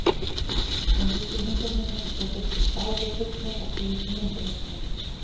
Hún lýsir heimsókninni: Þeir virtust báðir hrifnir af síðustu myndunum mínum.